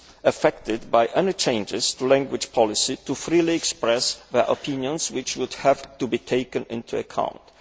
affected by any changes to language policy to freely express their opinions, which would have to be taken into account.